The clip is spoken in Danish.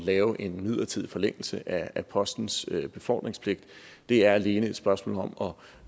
lave en midlertidig forlængelse af postens befordringspligt det er alene et spørgsmål om